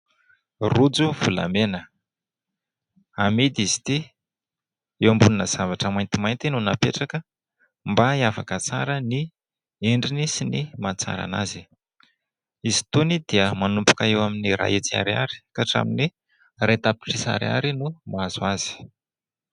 Rojo volamena. Amidy izy ity. Eo ambonina zavatra maintimainty no napetraka mba hiavaka tsara ny endriny sy ny mahatsara an'azy. Izy itony dia manomboka eo amin'ny iray hetsy ariary ka hatramin'ny iray tapitrisa ariary no mahazo azy.